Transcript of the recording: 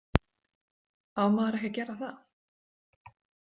Á maður ekki að gera það?